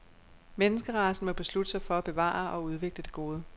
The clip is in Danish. Menneskeracen må beslutte sig for at bevare og udvikle det gode.